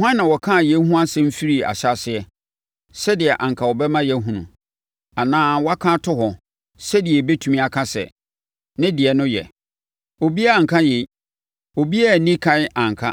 Hwan na ɔkaa yei ho asɛm firii ahyɛaseɛ, sɛdeɛ anka ɛbɛma yɛahunu, anaa waka ato hɔ, sɛdeɛ yɛbɛtumi aka sɛ, ‘Ne deɛ no yɛ’? Obiara anka yei, obiara anni ɛkan anka,